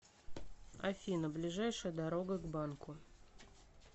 афина ближайшая дорога к банку